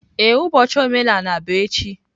Ee, ụbọchị omenala bụ echi.